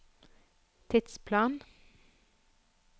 tidsplan